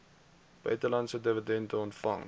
buitelandse dividende ontvang